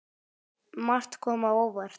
Margt kom á óvart.